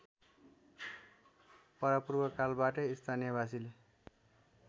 परापूर्वकालबाटै स्थानीयवासीले